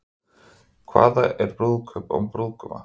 Hvað er brúðkaup án brúðguma?